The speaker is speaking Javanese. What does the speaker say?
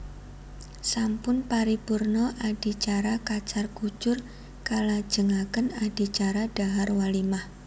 Sampun paripurna adicara kacar kucur kalajengaken adicara dhahar walimah